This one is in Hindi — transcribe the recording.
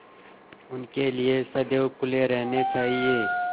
उनके लिए सदैव खुले रहने चाहिए